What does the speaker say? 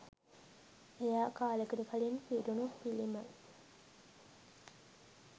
එයා කාලෙකට කලින් පිරුණු පිළිම